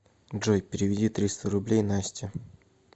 джой переведи триста рублей насте